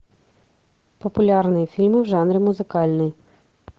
популярные фильмы в жанре музыкальный